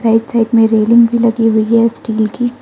Right side में railing भी लगी हुई है स्टील की।